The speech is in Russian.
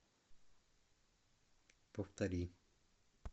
повтори